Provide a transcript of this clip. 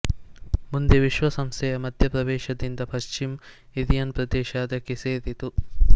ಮುಂದೆ ವಿಶ್ವಸಂಸ್ಥೆಯ ಮಧ್ಯ ಪ್ರವೇಶದಿಂದ ಪಶ್ಚಿಮ ಇರಿಯನ್ ಪ್ರದೇಶ ಅದಕ್ಕೆ ಸೇರಿತು